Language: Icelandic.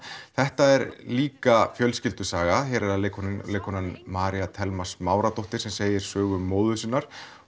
þetta er líka fjölskyldusaga hér er það leikkonan leikkonan María Thelma Smáradóttir sem segir sögu móður sinnar